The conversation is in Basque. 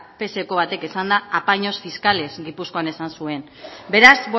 pseko batek esanda apaños fiscales gipuzkoan esan zuen beraz